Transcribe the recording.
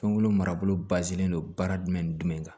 Fɛnkolo marabolo bazen don baara jumɛn ni jumɛn kan